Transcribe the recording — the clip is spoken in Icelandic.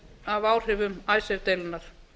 af áhrifum icesave deilunnar